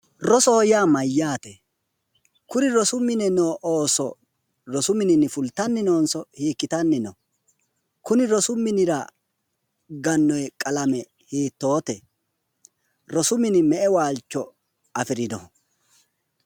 Rosoho yaa mayyaate? Kuri rosu mine no ooso fultanni noonso hiikkitanni no?kunni rosi minira gannoonni qalame hiittoote? rosu mini me'ewaalcho💐afirino?